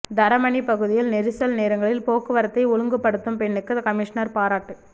தரமணி பகுதியில் நெரிசல் நேரங்களில் போக்குவரத்தை ஒழுங்குபடுத்தும் பெண்ணுக்கு கமிஷனர் பாராட்டு